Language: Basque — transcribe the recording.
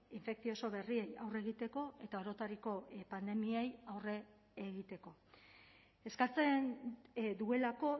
infekzioso berriei aurre egiteko eta orotariko pandemiei aurre egiteko eskatzen duelako